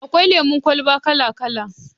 Akwai lemon kwalba kala-kala